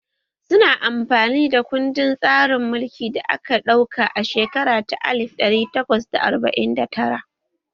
Su na amfani da kuɗin tsarin mulki da aka ɗauka a shekara ta alif ɗari takwas da arba'in da tara